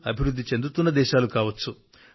అభివృద్ధి చెందుతున్న దేశాలు కావచ్చు